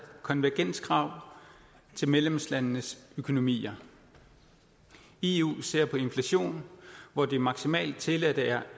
konvergenskrav til medlemslandenes økonomier eu ser på inflationen hvor det maksimalt tilladte er